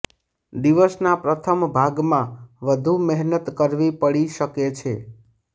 દિવસના પ્રથમ ભાગમાં વધુ મહેનત કરવી પડી શકે છે